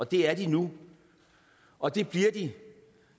det er de nu og det bliver de